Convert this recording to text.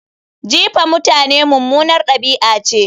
Jifa mutane mummunar ɗabi'a ce